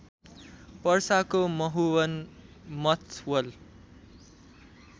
पर्साको Mahuwan Mathawal